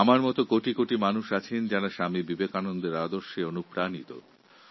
আমার মতো এই দেশে কোটি কোটি মানুষ রয়েছেন যাঁরা স্বামী বিবেকানন্দের আদর্শে উদ্বুদ্ধ